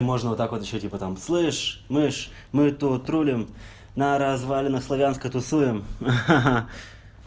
можно вот так вот ещё типа там слышь мышь мы тут рулём на развалинах славянска тусуем